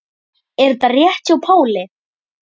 Er þetta rétt hjá Páli?